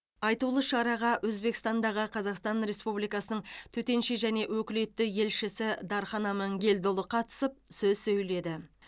айтулы шараға өзбекстандағы қазақстан республикасының төтенше және өкілетті елшісі дархан амангелдіұлы қатысып сөз сөйледі